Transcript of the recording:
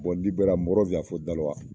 Bɔn liberiya mɔgɔ fɔ daluwa